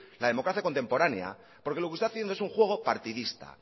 la democracia contemporánea porque lo que está haciendo es un juego partidista